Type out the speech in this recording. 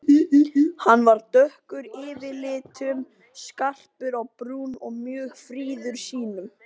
Hann var dökkur yfirlitum, skarpur á brún og mjög fríður sýnum.